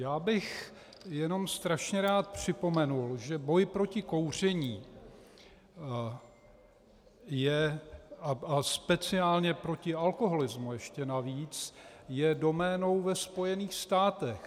Já bych jenom strašně rád připomenul, že boj proti kouření a speciálně proti alkoholismu ještě navíc je doménou ve Spojených státech.